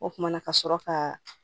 O kumana ka sɔrɔ ka